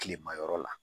Kilema yɔrɔ la